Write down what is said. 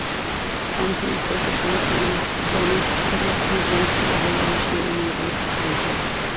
Samtidig frygter sortseerne, komma at det bliver vanskeligt at holde lønningerne i ro. punktum